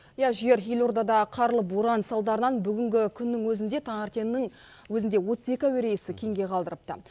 иә жігер елордада қарлы боран салдарынан бүгінгі күннің өзінде таңертеңнің өзінде отыз екі әуе рейсі кейінге қалдырыпты